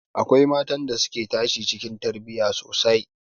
Akwai matan da suka tashi cikin tarbiyya sosai